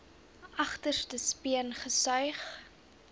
agterste speen gesuig